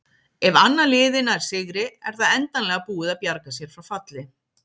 Ef annað liðið nær sigri er það endanlega búið að bjarga sér frá falli.